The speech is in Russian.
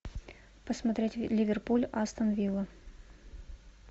посмотреть ливерпуль астон вилла